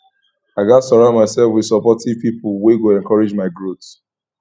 i gats surround myself with supportive pipo wey go encourage my growth